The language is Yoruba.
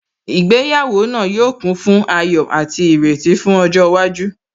Ìgbéyàwó náà yóò kún fún ayọ̀ àti ìrètí fún ọjọ́ iwájú